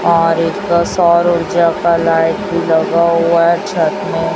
और एक का सौर ऊर्जा का लाइट लगा हुआ छत में।